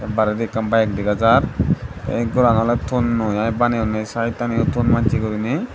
baredi ekkan bike dega jar the ghoran ole thonnoi iy baneyunne side ani thon machi guriney.